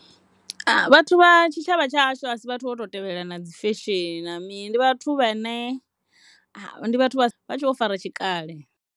Vhathu vha tshitshavha tsha hashu a si vhathu vho no tou tevhelelana na dzi fesheni na mii ndi vhathu vhene ndi vhathu vha sa, vha tshe vho fara tshikale.